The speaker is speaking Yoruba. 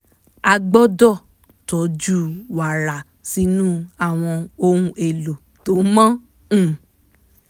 a gbọ́dọ̀ tọ́jú wàrà sínú àwọn ohun èlò tó mọ́ um